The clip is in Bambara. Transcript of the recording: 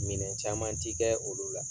Minɛn caman ti kɛ olu la.